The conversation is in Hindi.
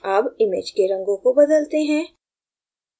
अब image के रंगों को बदलते हैं